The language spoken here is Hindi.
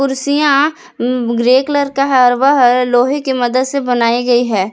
कुर्सियां उम्म ग्रे कलर का है और वह लोहे की मदद से बनाई गई है।